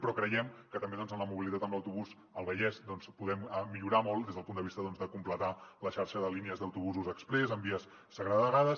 però creiem que també en la mobilitat amb autobús al vallès podem millorar molt des del punt de vista de completar la xarxa de línies d’autobusos exprés en vies segregades